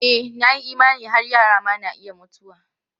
E, na yi imani har yara ma na iya mutuwa.